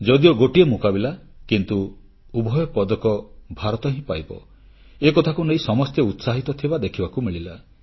ଯଦିଓ ଗୋଟିଏ ମୁକାବିଲା କିନ୍ତୁ ଉଭୟ ପଦକ ଭାରତ ହିଁ ପାଇବ ଏକଥାକୁ ନେଇ ସମସ୍ତେ ଉତ୍ସାହିତ ଥିବା ଦେଖିବାକୁ ମିଳିଲା